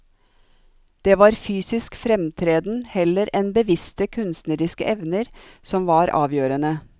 Det var fysisk fremtreden heller enn bevisste kunstneriske evner som var avgjørende.